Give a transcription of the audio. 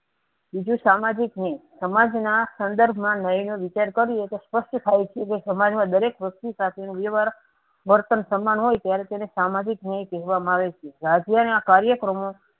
બીજું સામાજિક ન્યાય સમાજના સંદર્ભમાં ન્યાયનો વિચાર કર્યો તો સપષ્ટ થાય છેકે સમાજમાં દરેક વસ્તુ સાથે નો વ્યવહાર વર્તન સમાન હોય ત્યારે તેને સામાજિક ન્યાય કહેવામાં આવે છે. ના કાર્ય કર્મો.